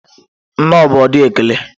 Nnọọ bụ ụdị ekele.